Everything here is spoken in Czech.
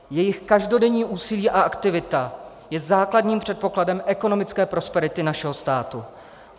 Jejich každodenní úsilí a aktivita je základním předpokladem ekonomické prosperity našeho státu.